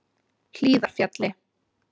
Hlíðarfjalli